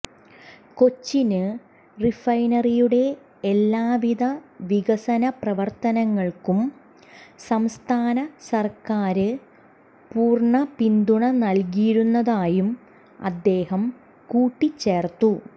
കൊച്ചിന് റിഫൈനറിയുടെ എല്ലാ വിധ വികസന പ്രവര്ത്തനങ്ങള്ക്കും സംസ്ഥാന സര്ക്കാര് പൂര്ണ പിന്തുണ നല്കിയിരുന്നതായും അദ്ദേഹം കൂട്ടിച്ചേര്ത്തു